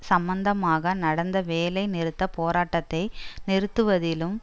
சம்பந்தமாக நடந்த வேலை நிறுத்த போராட்டத்தை நிறுத்துவதிலும்